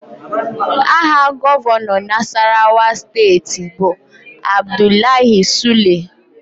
Aha Gọvanọ Nasarawa steeti bụ Abdullahi Sule